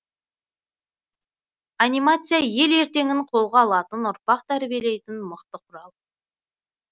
анимация ел ертеңін қолға алатын ұрпақ тәрбиелейтін мықты құрал